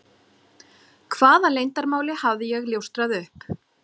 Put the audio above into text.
Hvaða leyndarmáli hafði ég ljóstrað upp?